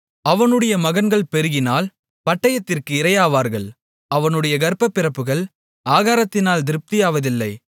அவனுடைய மகன்கள் பெருகினால் பட்டயத்திற்கு இரையாவார்கள் அவனுடைய கர்ப்பப்பிறப்புகள் ஆகாரத்தினால் திருப்தியாவதில்லை